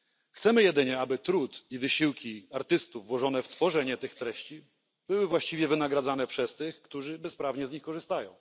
Chcemy jedynie, aby trud i wysiłki artystów włożone w tworzenie tych treści były właściwie wynagradzane przez tych, którzy bezprawnie z nich korzystają.